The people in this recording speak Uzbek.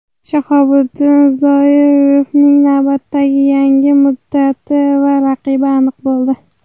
Shahobiddin Zoirovning navbatdagi jangi muddati va raqibi aniq bo‘ldi.